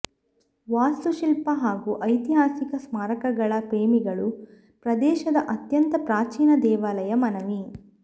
ವಾಸ್ತುಶಿಲ್ಪ ಹಾಗೂ ಐತಿಹಾಸಿಕ ಸ್ಮಾರಕಗಳ ಪ್ರೇಮಿಗಳು ಪ್ರದೇಶದ ಅತ್ಯಂತ ಪ್ರಾಚೀನ ದೇವಾಲಯ ಮನವಿ